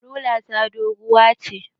Rula ta doguwa ce